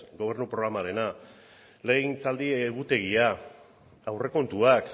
gobernu programarena legegintzaldi egutegia aurrekontuak